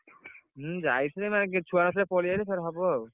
ହୁଁ ଯାଇଥିଲି ମାନେ କେହି ଛୁଆ ନଥିଲେ ପଳେଇ ଆଇଲି ଫେରେ ହବ ଆଉ।